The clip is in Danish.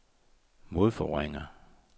modforvrænger